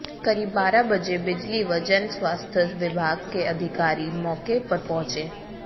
करीब बारह बजे बिजली व जनस्वास्थ्य विभाग के अधिकारी मौके पर पहुंचे